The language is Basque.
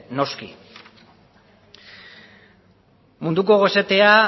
noski munduko gosetea